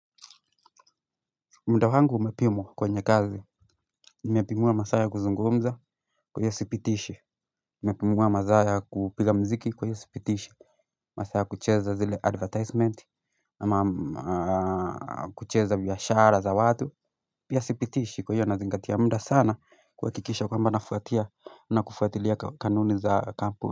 Muda wangu umepimwa kwenye kazi Nimepimiwa masaa kuzungumza huwa sipitishi Nimepimiwa masaa kupiga muziki kwa hiyo sipitishi Masaaa kucheza zile advertisement ama kucheza biashara za watu Pia sipitishi kwa hiyo nazingatia muda sana kuhakikisha kwamba nafuatia na kufuatilia kanuni za kampuni.